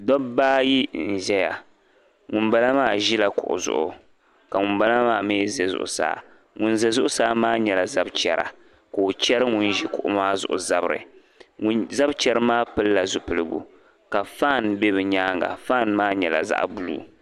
Dabba ayi n ʒiya ŋuni bala maa ʒila kuɣi zuɣu ka ŋuni bala maa mi ʒi zuɣusaa ŋuni za zuɣusaa maa nyɛla zab'chɛra ka o chɛri ŋuni ʒi kuɣi maa zuɣu zabiri zab'chɛri maa pilila zupiligu ka fani bɛ be nyaaŋa fani maa nyɛla zaɣ'buluu.